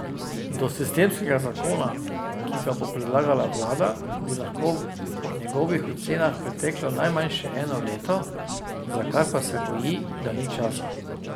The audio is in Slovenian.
Do sistemskega zakona, ki ga bo predlagala vlada, bi lahko po njegovih ocenah preteklo najmanj še eno leto, za kar pa se boji, da ni časa.